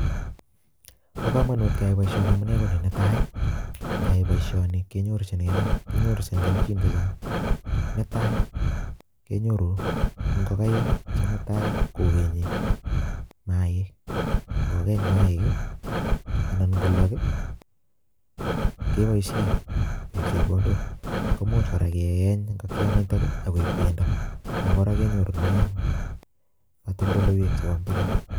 Bo kamanut keyai boisioni amune ko ni, netai ii, ngeyai boisioni kenyorchinkei kenyorchin kelchin che chang, netai kenyoru ngokaik che mutai kokenyi maaik, ngokeny maaik ii anan ngolok ii, keboisie koek chepkondok, komuch kora keeny ngokianitok ii ak koek bendo, ako kora kenyorune katoldoleiwek chebo imbar.